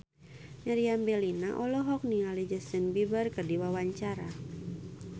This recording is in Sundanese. Meriam Bellina olohok ningali Justin Beiber keur diwawancara